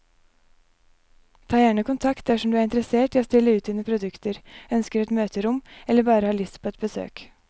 Ta gjerne kontakt dersom du er interessert i å stille ut dine produkter, ønsker et møterom eller bare har lyst på et besøk.